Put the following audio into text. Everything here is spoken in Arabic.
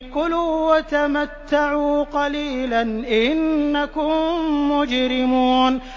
كُلُوا وَتَمَتَّعُوا قَلِيلًا إِنَّكُم مُّجْرِمُونَ